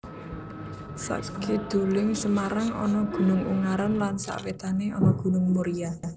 Sakiduling Semarang ana Gunung Ungaran lan sawétané ana Gunung Muria